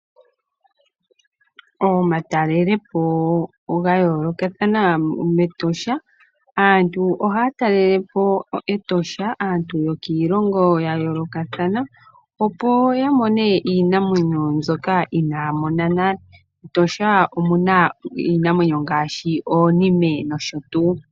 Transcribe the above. Omatalelopo ga yoolokathana mEtosha, aantu yokiilongo ya yoolokathana oha ya talelepo Etosha opo ya mone iinamwenyo mbyoka inaaya mona nale. MEtosha omuna iinamwenyo ngaashi oonime nosho tuu.